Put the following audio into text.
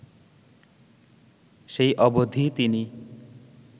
সেই অবধি তিনি